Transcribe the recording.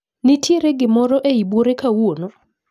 Ntiere gikmorr eiy buore kawuono?